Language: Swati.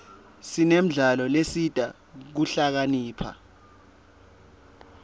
sinemidlalo lesita kuhlakanipha